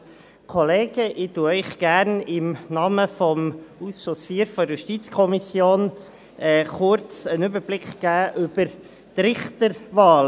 Ich gebe Ihnen gerne im Namen des Ausschusses IV der JuKo kurz einen Überblick über die Richterwahlen.